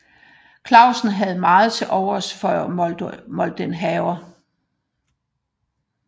Clausen havde meget tilovers for Moldenhawer